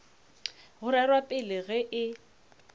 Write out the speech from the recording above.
go rerwa pele ge e